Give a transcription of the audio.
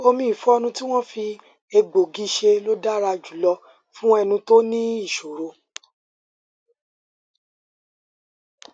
omi ìfọnu tí wọn fi egbòogi ṣe ló dára jùlọ fún ẹnu tó ní ìṣoro